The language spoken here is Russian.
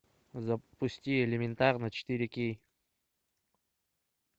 запусти элементарно четыре кей